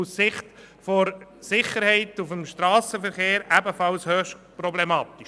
Aus Sicht der Sicherheit des Strassenverkehrs ist das ebenfalls höchst problematisch.